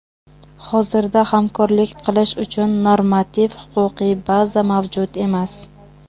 Hozirda hamkorlik qilish uchun normativ-huquqiy baza mavjud emas.